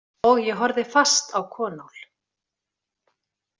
Og ég horfði fast á Konál.